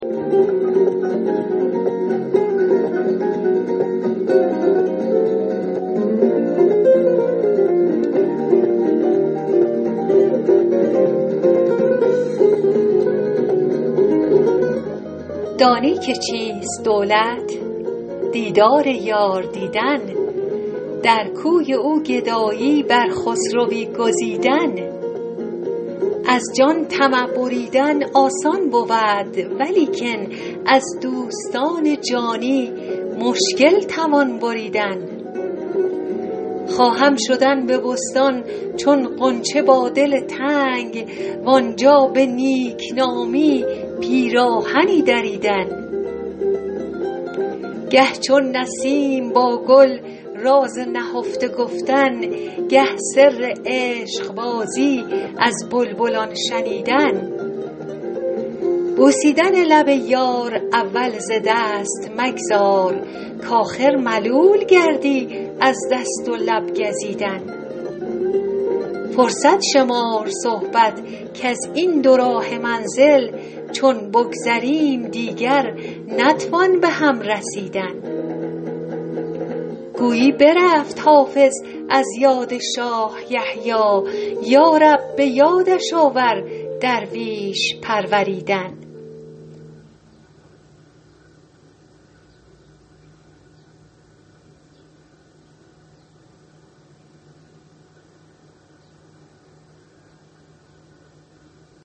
دانی که چیست دولت دیدار یار دیدن در کوی او گدایی بر خسروی گزیدن از جان طمع بریدن آسان بود ولیکن از دوستان جانی مشکل توان بریدن خواهم شدن به بستان چون غنچه با دل تنگ وآنجا به نیک نامی پیراهنی دریدن گه چون نسیم با گل راز نهفته گفتن گه سر عشق بازی از بلبلان شنیدن بوسیدن لب یار اول ز دست مگذار کآخر ملول گردی از دست و لب گزیدن فرصت شمار صحبت کز این دوراهه منزل چون بگذریم دیگر نتوان به هم رسیدن گویی برفت حافظ از یاد شاه یحیی یا رب به یادش آور درویش پروریدن